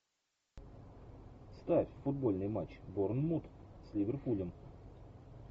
ставь футбольный матч борнмут с ливерпулем